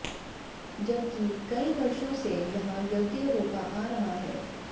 जबकि कई वर्षों से यहां यज्ञ होता आ रहा है